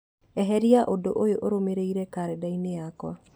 eheria ũndũ ũyũ ũrũmĩrĩire karenda-inĩ yakwa